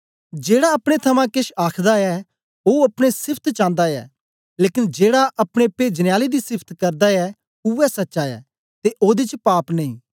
जेड़ा अपने थमां केछ आखदा ऐ ओ अपने सिफत चांदा ऐ लेकन जेड़ा अपने पेजने आले दी सिफत करदा ऐ उवै सच्चा ऐ ते ओदे च पाप नेई